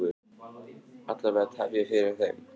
Alla vega tefja fyrir þeim.